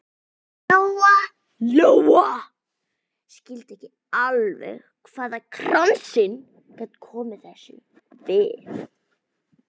Lóa Lóa skildi ekki alveg hvað kransinn gat komið þessu við.